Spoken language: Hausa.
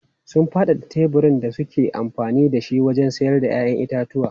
Sun faɗaɗa teburin da suke amfani da shi wajen sayar da 'ya'yan itatuwa.